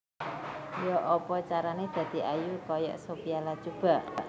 Yo'opo carane dadi ayu koyok Sophia Latjuba?